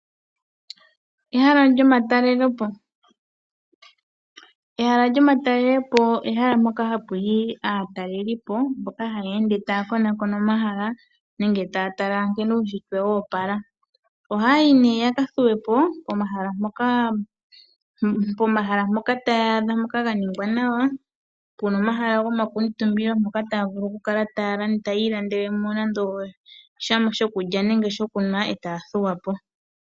Ehala lyomatalelo po, ehala lyomatalelo po ehala mpoka hapu yi aatalelelipo mboka haya ende taya konakona omahala nenge taya tala nkene uunshitwe wo opala. Ohaya yi nee ya ka thuwe po pomahala mpoka taya adha pwa ningwa nawa, pu na omahala gomakuutumbilo mpoka taya vulu okukala taya ilandele mo nande osha shokulya nenge shokunwa e taya thuwa po.